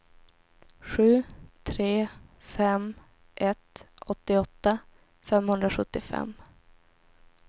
sju tre fem ett åttioåtta femhundrasjuttiofem